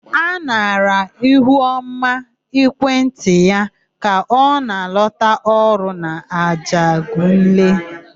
A nara Ihuọma ekwentị ya ka ọ na-alọta ọrụ n'Ajegunle.